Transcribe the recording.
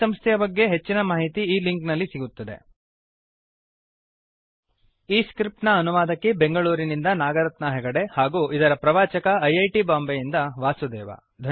ಈ ಸಂಸ್ಥೆಯ ಬಗ್ಗೆ ಹೆಚ್ಚಿನ ಮಾಹಿತಿ ಈ ಲಿಂಕ್ ನಲ್ಲಿ ಸಿಗುತ್ತದೆ httpspoken tutorialorgNMEICT Intro ಈ ಸ್ಕ್ರಿಪ್ಟ್ ಅನುವಾದಕಿ ಬೆಂಗಳೂರಿನಿಂದ ನಾಗರತ್ನಾ ಹೆಗಡೆ ಹಾಗೂ ಇದರ ಪ್ರವಾಚಕ ಐ ಐ ಟಿ ಬಾಂಬೆ ಯಿಂದ ವಾಸುದೇವ